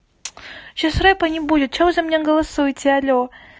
сейчас рэпа не будет что вы за меня голосуйте аллё